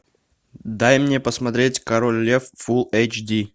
дай мне посмотреть король лев фулл эйч ди